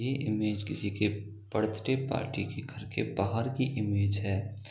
ये इमेज किसी के बर्थडे पार्टी के घर की बाहर की इमेज है।